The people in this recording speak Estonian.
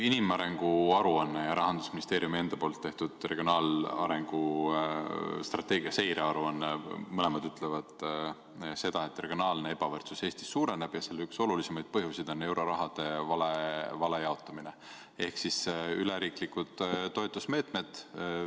Inimarengu aruanne ja Rahandusministeeriumi enda tehtud regionaalarengu strateegia seirearuanne ütlevad mõlemad seda, et regionaalne ebavõrdsus Eestis suureneb ja selle üks olulisemaid põhjuseid on euroraha vale jaotamine ehk üleriiklikud toetusmeetmed.